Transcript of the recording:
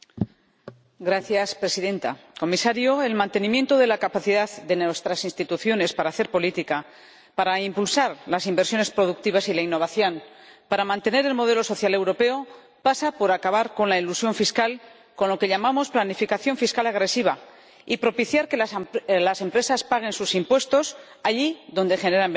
Señora Presidenta, señor Comisario, el mantenimiento de la capacidad de nuestras instituciones para hacer política, para impulsar las inversiones productivas y la innovación, para mantener el modelo social europeo pasa por acabar con la elusión fiscal, con lo que llamamos planificación fiscal agresiva, y propiciar que las empresas paguen sus impuestos allí donde generan beneficios.